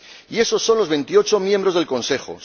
Y esos son los 28 miembros del Consejo.